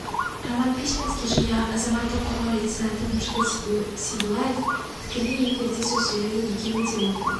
роман письменский және азаматтық қорғау лейтенанты нұржігіт сейдуллаев тікелей эфирде сөз сөйледі екеуі де оқу